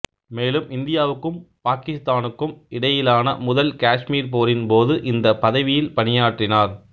மேலும் இந்தியாவுக்கும் பாக்கித்தானுக்கும் இடையிலான முதல் காஷ்மீர் போரின் போது இந்த பதவியில் பணியாற்றினார்